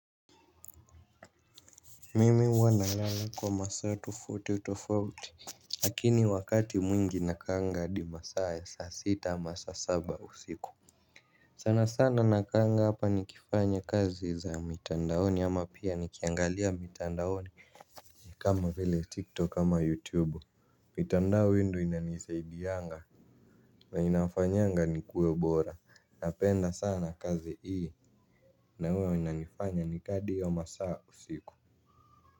Mimi huwa nalala kwa masaa tofauti tofauti. Lakini wakati mwingi nakanga hadi masaa ya saa sita masaa saba usiku. Sana sana nakanga hapa nikifanya kazi za mitandaoni ama pia nikiangaliya mitandaoni kama vile TikTok ama YouTube. Na inafanyanga nikuwe bora napenda sana kazi hii na huwa inanifanya na kaa hadi hayo masaa usiku.